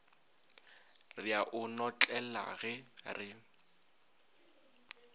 re a o notlelage re